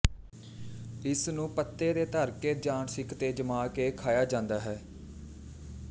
ਇਸਨੂੰ ਪੱਤੇ ਤੇ ਧਰ ਕੇ ਜਾਨ ਸਿੰਖ ਤੇ ਜਮਾ ਕੇ ਖਾਇਆ ਜਾਂਦਾ ਹੈ